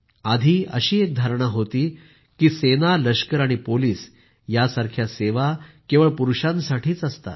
आधी अशी एक धारणा होती की सेनालष्कर आणि पोलिस यासारख्या सेवा केवळ पुरूषांसाठीच असतात